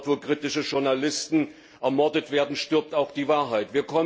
Dort, wo kritische Journalisten ermordet werden, stirbt auch die Wahrheit.